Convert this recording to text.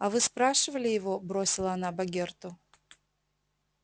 а вы спрашивали его бросила она богерту